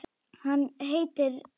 Hann heitir Vaskur.